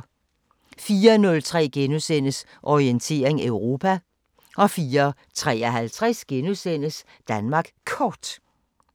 04:03: Orientering Europa * 04:53: Danmark Kort *